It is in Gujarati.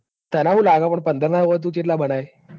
તને હું લાગે કે પંદર ના તું ચેટલા બનાઇ.